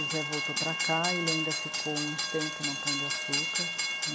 O Zé voltou para cá, ele ainda ficou um tempo no Pão de Açúcar...